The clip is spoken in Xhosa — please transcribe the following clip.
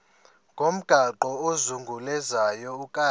ngomgaqo ozungulezayo ukanti